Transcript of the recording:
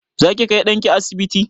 Zaki kai ɗanki asibiti?